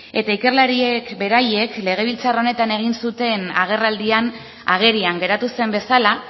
eta ikerlariek beraiek legebiltzar honetan egin zuten agerraldian agerian geratu zen bezala